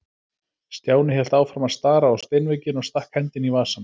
Stjáni hélt áfram að stara á steinvegginn og stakk hendinni í vasann.